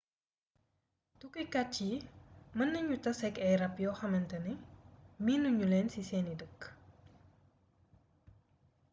tukkikat yi mën nañu taseek ay ràb yoo xamne miinu ñuleen ci seeni dëkk